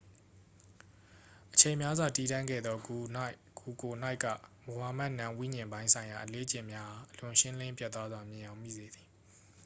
အချိန်များစွာ တည်တံ့ခဲ့သော ဂူကိုယ်၌က မိုဟာမက် နာမ်ဝိဉာဉ်ပိုင်းဆိုင်ရာ အလေ့အကျင့်များအား အလွန်ရှင်းလင်းပြတ်သားစွာ မြင်ယောင်မိစေသည်